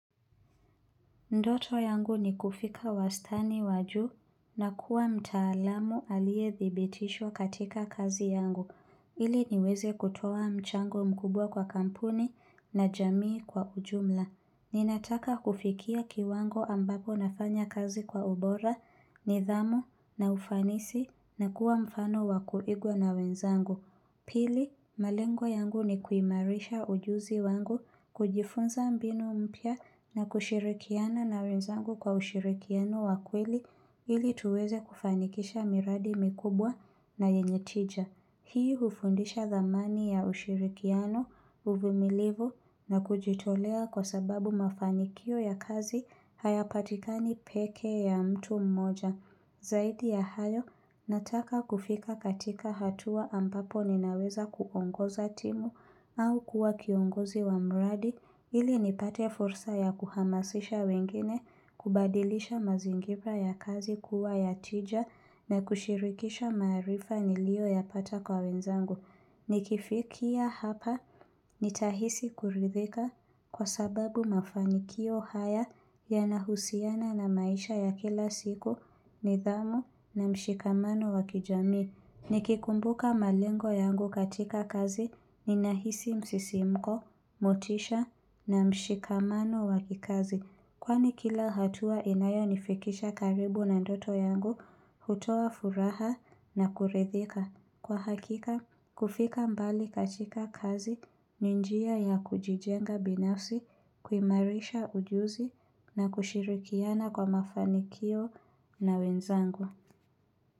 Ndoto yangu ni kufika uwastani wa juu na kuwa mtaalamu aliyethibitishwa katika kazi yangu, ili niweze kutoa mchango mkubwa kwa kampuni na jamii kwa ujumla. Ninataka kufikia kiwango ambapo nafanya kazi kwa ubora, nidhamu na ufanisi nakuwa mfano wa kuigwa na wenzangu. Pili, malengo yangu ni kuimarisha ujuzi wangu kujifunza mbinu mpya na kushirikiana na wenzangu kwa ushirikiano wa kweli ili tuweze kufanikisha miradi mikubwa na yenye tija. Hii hufundisha dhamani ya ushirikiano uvimilivu na kujitolea kwa sababu mafanikio ya kazi hayapatikani pekee ya mtu mmoja. Zaidi ya hayo, nataka kufika katika hatua ambapo ninaweza kuongoza timu au kuwa kiongozi wa mradi ili nipate fursa ya kuhamasisha wengine, kubadilisha mazingira ya kazi kuwa ya tija na kushirikisha maarifa niliyoyapata kwa wenzangu. Nikifikia hapa nitahisi kuridhika kwa sababu mafanikio haya yanahusiana na maisha ya kila siku nidhamu na mshikamano wa kijamii Nikikumbuka malengo yangu katika kazi ninahisi msisimko, motisha na mshikamano wa kikazi Kwani kila hatua inayonifikisha karibu na ndoto yangu hutoa furaha na kuridhika Kwa hakika, kufika mbali katika kazi njia ya kujijenga binafsi kuimarisha ujuzi na kushirikiana kwa mafanikio na wenzangu.